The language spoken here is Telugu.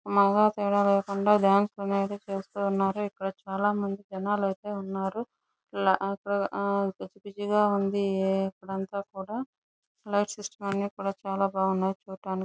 మగ తేడా లేకుండా డాన్స్ చేస్తున్నారు. ఇక్కడ చాల మంది జనాలైతే ఉన్నారు. ఆ గజిబిజిగా ఉంది ఇక్కడంతా కూడా లైట్ సిస్టం అన్ని కూడా బాగుంది చూడటానికి --